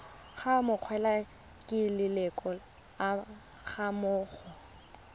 go amogelwa ke leloko gammogo